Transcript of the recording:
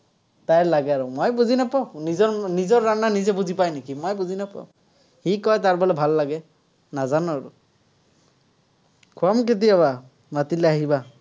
তাইৰ লাগে আৰু, মই বুজি নাপাওঁ। নিজৰ নিজৰ নিজে বুজি পায় নেকি? মই বুজি নাপাঁও। সি কয়, তাৰ বোলে ভাল লাগে। নাজানো আৰু। খুৱাম কেতিয়াবা, মাতিলে আহিবা।